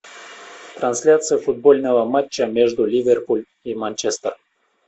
трансляция футбольного матча между ливерпуль и манчестер